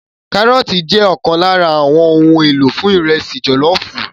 Kárọ́ọ̀tì jẹ́ ọ̀kan lára àwọn ohun èlò fún ìrẹsì jọ̀lọ́ọ̀fù